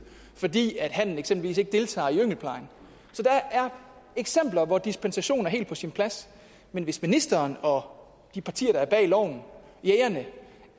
fordi hannen eksempelvis ikke deltager i yngelplejen så der er eksempler hvor dispensation er helt på sin plads men hvis ministeren og de partier der står bag loven og jægerne